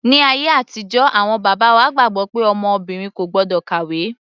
Ní ayé àtijọ́ awọn bàbá wa gbàgbọ́ pé ọmọ obìnrin kò gbọ́dọ̀ kàwé.